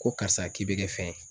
Ko karisa k'i bɛ kɛ fɛn ye